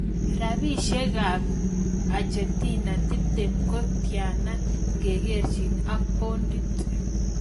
Rapisyekap Argentina tiptem ko tyanan ngekerchin ak paondit